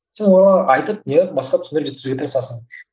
сен оларға айтып иә басқа түсіндіруге тырысасың